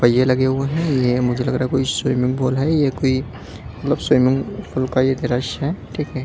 पहिये लगे हुए हैं ये मुझे लग रहा है कोई स्विमिंग पूल है ये कोई मतलब स्विमिंग पूल का ये द्रश्य है ठीक है।